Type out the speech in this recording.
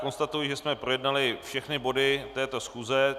Konstatuji, že jsme projednali všechny body této schůze.